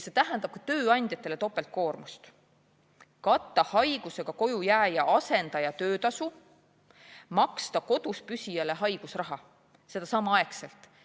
See tähendab ka tööandjatele topeltkoormust: katta haigusega kojujääja asendaja töötasu ja maksta koduspüsijale haigusraha, seda samaaegselt.